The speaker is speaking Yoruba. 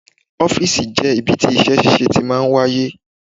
Ọ́fìsì jẹ́ ibi tí iṣẹ́ ṣíṣe tí máa ń wáyé